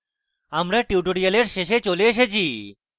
আমরা tutorial শেষে চলে এসেছি